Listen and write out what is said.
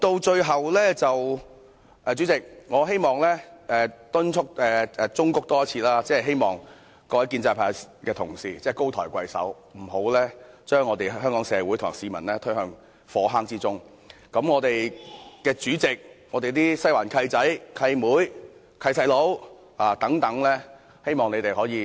最後，代理主席，我再次忠告各位建制派同事高抬貴手，不要將香港社會和市民推向火坑之中，希望我們的主席、"西環"的"契仔"、"契妹"、"契弟"等能為市民着想一下。